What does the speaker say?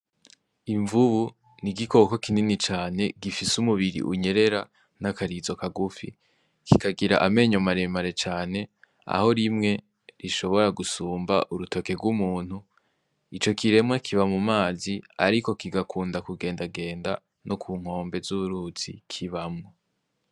Imvubu ni igikoko kinini cane gifise umubiri unyerera n'akarizo kagufi, kikagira amenya maremare cane aho rimwe rishobora gusumba urutoke rw'umuntu ico kiremwa kiba mu mazi, ariko kigakunda kugendagenda no ku nkombe z'uruzi kibamwo.